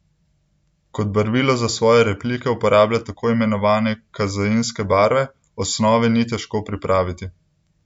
Kot barvilo za svoje replike uporablja tako imenovane kazeinske barve: "Osnove ni težko pripraviti.